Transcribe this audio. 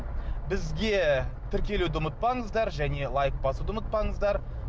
бізге тіркелуді ұмытпаңыздар және лайк басуды ұмытпаңыздар